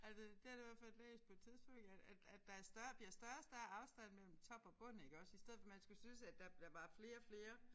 Altså det har jeg i hvert fald læst på et tidspunkt at at at der større bliver større og større afstand mellem top og bund iggås i stedet for man skulle synes at der var flere og flere